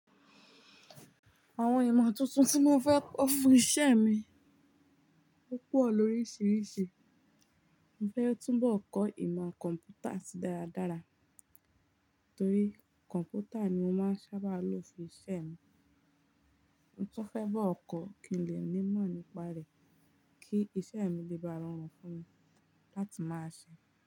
Àwọn ìmọ̀ tuntun tí mo fẹ́ kọ fún iṣẹ́ mi, ó pọ̀ lóríṣiríṣi. Mo fẹ́ túnbọ̀ kọ ìmọ̀ kọ̀m̀pútà tí dára dára, torí kọ̀m̀pútà ni mo máa ń sábà lò fún iṣẹ́ mi. Mo tun fẹ́ bọ kọ̀ kí n lè ní ìmọ̀ nípa rẹ̀ kí iṣẹ́ mi lè bá rọrùn fún mi láti máa ṣe.